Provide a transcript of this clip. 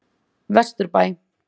Vesturbæ